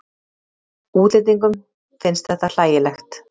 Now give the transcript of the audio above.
Útlendingum finnst þetta hlægilegt.